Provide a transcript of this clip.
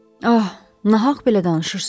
Ah, nahaq belə danışırsız.